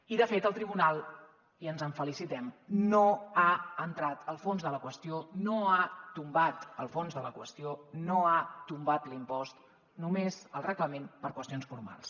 i de fet el tribunal i ens en felicitem no ha entrat al fons de la qüestió no ha tombat el fons de la qüestió no ha tombat l’impost només el reglament per qüestions formals